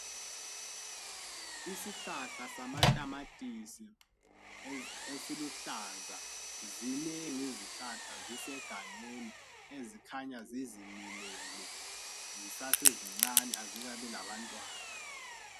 Isihlahla samatamatisi esiluhlaza, zinengi izihlahla zisegangeni ezikhanya zizimilele. Zisase zincani azikabi labantwana.